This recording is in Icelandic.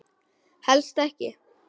Helst ekki.